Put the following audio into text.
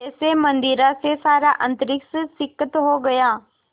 जैसे मदिरा से सारा अंतरिक्ष सिक्त हो गया